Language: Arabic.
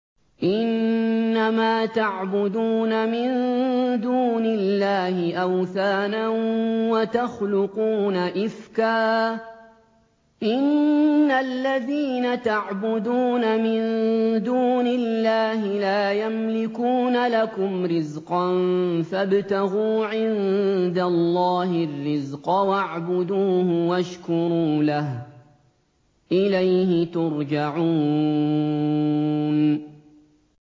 إِنَّمَا تَعْبُدُونَ مِن دُونِ اللَّهِ أَوْثَانًا وَتَخْلُقُونَ إِفْكًا ۚ إِنَّ الَّذِينَ تَعْبُدُونَ مِن دُونِ اللَّهِ لَا يَمْلِكُونَ لَكُمْ رِزْقًا فَابْتَغُوا عِندَ اللَّهِ الرِّزْقَ وَاعْبُدُوهُ وَاشْكُرُوا لَهُ ۖ إِلَيْهِ تُرْجَعُونَ